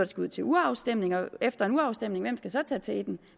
skal ud til urafstemning og hvem efter en urafstemning så tage teten